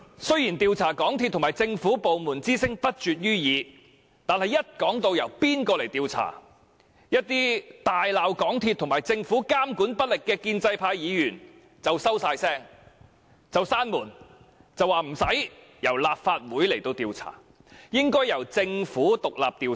雖然要求調查港鐵公司和政府部門之聲不絕於耳，但一說到應由誰來調查，一些大罵港鐵公司和政府監管不力的建制派議員便立刻噤聲，然後說無須由立法會調查，應由政府獨立調查。